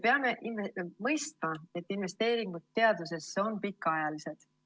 Peame mõistma, et investeeringud teadusesse on pikaajalised.